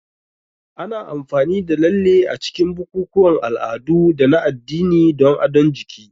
Ana amfani da lalle a cikin bukukuwan al'adu da na addini don adon jiki.